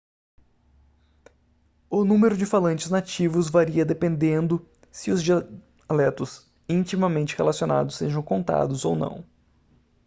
o número de falantes nativos varia dependendo se os dialetos intimamente relacionados sejam contados ou não